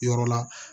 Yɔrɔ la